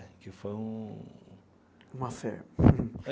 Que foi um... Um affair